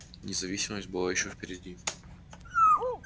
независимость была ещё впереди